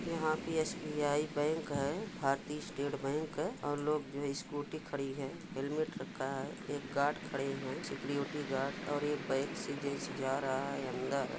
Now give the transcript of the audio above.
यहां पे SBI. Bank है भारतीय स्टेट बैंक है और लोग जो स्कूटी खड़ी है हेल्मेट रखा है एक गार्ड खड़े है सिक्योरिटी गार्ड और यह बैग सजे सजा रहा है अंदर।